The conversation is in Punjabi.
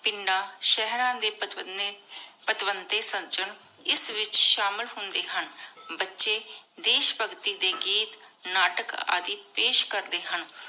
ਪਿੰਡਾਂ, ਸਹਿਰਾ ਦੇ ਇਸ ਵਿਚ ਸ਼ਾਮਿਲ ਹੁੰਦੇ ਹਨ। ਬੱਚੇ ਦੇਸ਼ ਭਗਤੀ ਦੇ ਗੀਤ ਨਾਟਕ ਆਦਿ ਪੇਸ਼ ਕਰਦੇ ਹਨ।